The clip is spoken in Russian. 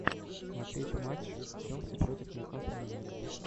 смотреть матч игры челси против ньюкасл юнайтед